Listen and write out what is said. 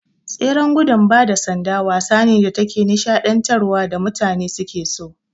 Tseren gudun bada sanda wasa ne da take nishaɗantar wa da mutane suke so